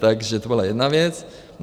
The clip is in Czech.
Takže to byla jedna věc.